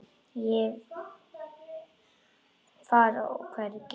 Og fara hvergi.